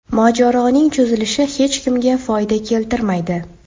Mojaroning cho‘zilishi hech kimga foyda keltirmaydi.